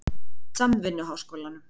Samvinnuháskólanum